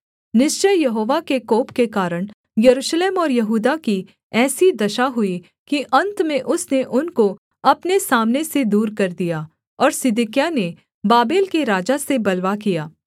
निश्चय यहोवा के कोप के कारण यरूशलेम और यहूदा की ऐसी दशा हुई कि अन्त में उसने उनको अपने सामने से दूर कर दिया और सिदकिय्याह ने बाबेल के राजा से बलवा किया